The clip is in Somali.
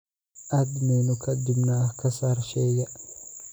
aad menu ka dibna ka saar shayga